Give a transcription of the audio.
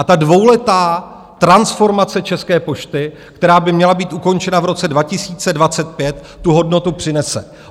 A ta dvouletá transformace České pošty, která by měla být ukončena v roce 2025, tu hodnotu přinese.